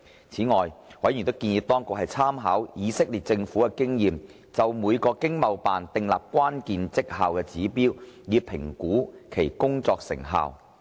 此外，委員建議當局參考以色列政府的經驗，就每個駐海外經濟貿易辦事處訂立關鍵績效指標，以評估其工作成效。